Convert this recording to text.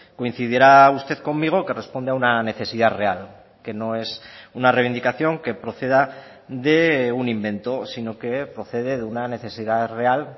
coincidirá usted conmigo que responde a una necesidad real que no es una reivindicación que proceda de un invento sino que procede de una necesidad real